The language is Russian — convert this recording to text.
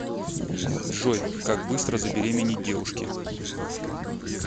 джой как быстро забеременеть девушке